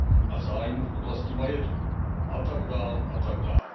a zájmu v oblasti majetku a tak dále a tak dále.